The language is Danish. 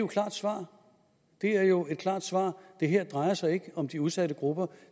klart svar det er jo et klart svar det her drejer sig ikke om de udsatte grupper